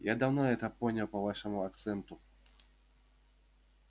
я давно это понял по вашему акценту